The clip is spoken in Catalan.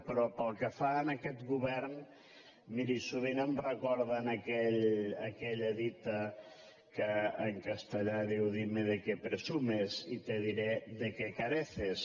però pel que fa a aquest govern miri sovint em recorden aquella dita que en castellà diu dime de qué presumes y te diré de qué careces